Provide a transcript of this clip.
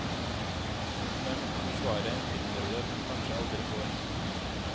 Hun har måttet forsvare en filmrolle hun kanskje aldri får.